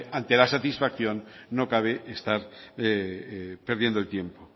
ante la satisfacción no cabe estar perdiendo el tiempo